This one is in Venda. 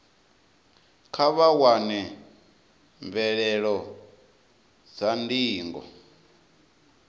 kha vha wane mvelelo dza ndingo